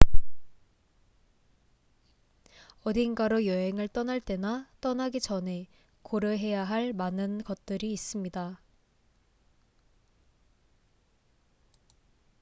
어딘가로 여행을 떠날 때나 떠나기 전에 고려해야 할 많은 것들이 있습니다